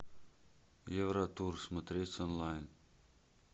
евротур смотреть онлайн